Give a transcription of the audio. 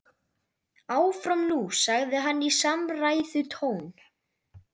Áfram nú sagði hann í samræðutón.